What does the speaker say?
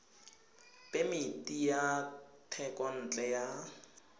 ya phemiti ya thekontle ya